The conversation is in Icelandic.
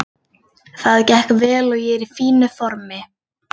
Það gekk vel og ég er í fínu formi.